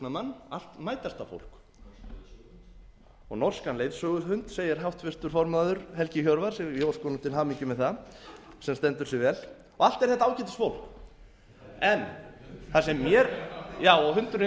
rannsóknarmann allt mætasta fólk og norskan leiðsöguhund segir háttvirtur formaður helgi hjörvar og ég óska honum til hamingju með það sem stendur sig vel og allt er þetta ágætis fólk já og hundurinn